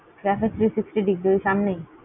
Caafe three sixty Degree ওই সামনেই?